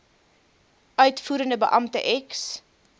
uitvoerende beampte ex